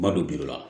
N ma don la